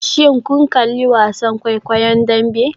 Shin kun kalli wasan kwaikwayon Dambe?